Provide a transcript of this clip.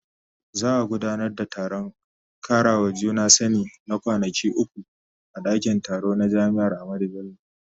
Za a gudanar da taron karawa juna sani na kwanaki uku a dakin taro na jami'ar Ahmadu Bello.